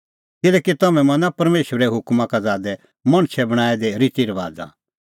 किल्हैकि तम्हैं मना परमेशरे हुकमा का ज़ादै मणछै बणांऐं दै रितीरबाज़ा